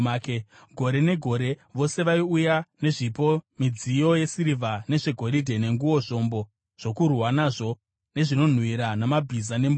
Gore negore vose vaiuya nezvipo midziyo yesirivha nezvegoridhe, nenguo, zvombo zvokurwa nazvo nezvinonhuhwira, namabhiza nembongoro.